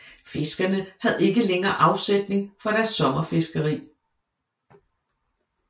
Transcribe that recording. Fiskerne havde ikke længere afsætning for deres sommerfiskeri